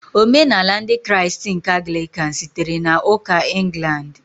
Omenala Ndị Kraịst nke Anglican sitere na Ụka ​​England.